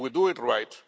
If we do it right.